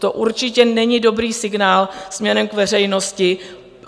To určitě není dobrý signál směrem k veřejnosti.